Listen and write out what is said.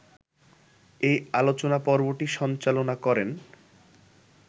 এ আলোচনা পর্বটি সঞ্চালনা করেন